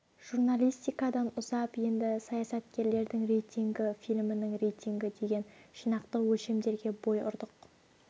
журналистикадан ұзап енді саясаткерлердің рейтингі фильмнің рейтингі деген жинақтық өлшемдерге бой ұрдық